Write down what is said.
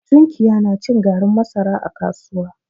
Tunkiya na cin garin masara a kasuwa.